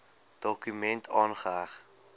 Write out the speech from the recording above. dokument aangeheg